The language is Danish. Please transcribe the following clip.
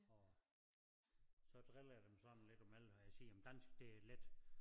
Og så driller jeg dem sådan lidt og med når jeg siger men dansk det er let